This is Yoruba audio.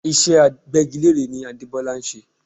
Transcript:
Iṣẹ́ Agbẹ́gilére ni Adebola ń ṣe